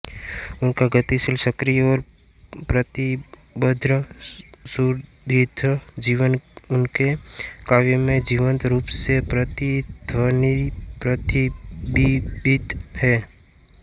उनका गतिशील सक्रिय और प्रतिबद्ध सुदीर्घ जीवन उनके काव्य में जीवंत रूप से प्रतिध्वनितप्रतिबिंबित है